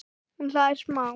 Hún hlær smá.